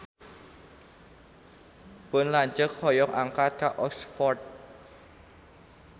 Pun lanceuk hoyong angkat ka Oxford